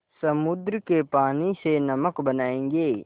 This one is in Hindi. समुद्र के पानी से नमक बनायेंगे